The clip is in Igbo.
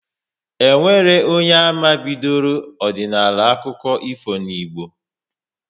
E nwere onye ama bidoro ọdịnala akụkọ ifo n'Igbo